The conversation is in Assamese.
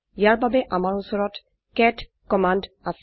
ইয়াৰ বাবে আমাৰ উচৰত কেট কম্মন্দ আছে